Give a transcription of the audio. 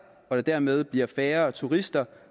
og der dermed bliver færre turister